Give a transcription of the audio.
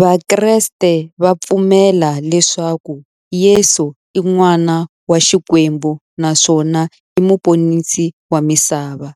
Vakreste va pfumela leswaku Yesu i n'wana wa Xikwembu naswona i muponisi wa misava,